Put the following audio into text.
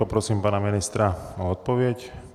Poprosím pana ministra o odpověď.